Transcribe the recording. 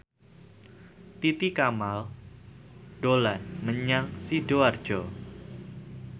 Titi Kamal dolan menyang Sidoarjo